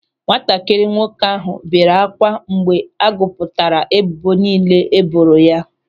Nwatakịrị nwoke ahụ bere ákwà mgbe a gụpụtara ebubo niile e boro ya.